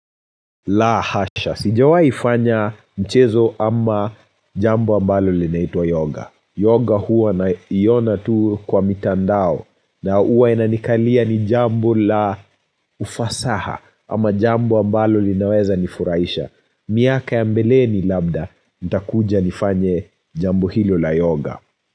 La hasha. Sijawaifanya mchezo ama jambo ambalo linaitwa yoga. Yoga huwa naiona tu kwa mitandao na huwa inanikalia ni jambo la ufasaha ama jambo ambalo linaweza nifurahisha. Miaka ya mbeleni labda. Nitakuja nifanye jambo hilo la yoga.